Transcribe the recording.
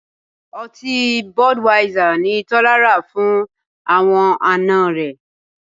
Ọtí Budweisser ni Tọ́lá rà fún àwọn àna rẹ̀